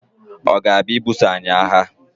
ọ̀ ga-abịa ibuso anyị agha?